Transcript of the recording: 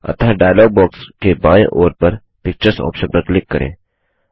अतः dialogue box के बाएँ ओर पर पिक्चर्स ऑप्शन पर क्लिक करें